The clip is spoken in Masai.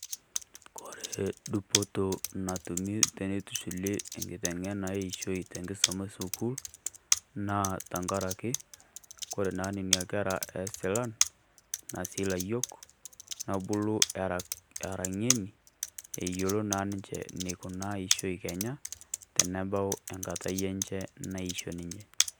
Kore dupoto natumi teneitushuli nkiteng'ena eishoi te nkisuma esukuul naa tang'araki kore naa nenia nkerra e silaan ena sii laiyok nebuluu era, era ng'enii eloo naa ninchee naikunaa eisho ekenya tene bau enkaatai enchee naishoi ninye.